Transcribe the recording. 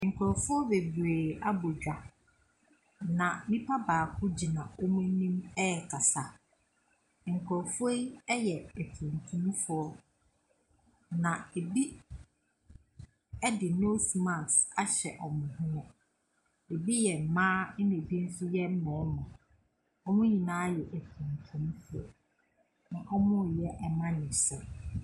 Nkurɔfoɔ bebree abɔ dwa, na nnipa baako gyina wɔn anim rekasa. Nkorɔfoɔ yi yɛ atuntumfoɔ. Na ɛbi de nose mask ahyɛ wɔn hwene. Ɛbi yɛ mmaa, ɛna ɛbi nso yɛ mmarima. Wɔn nyinaa yɛ atuntumfo, na wɔreyɛ amanyɔsɛm.